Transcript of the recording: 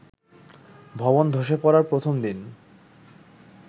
ভবন ধসে পড়ার প্রথম দিন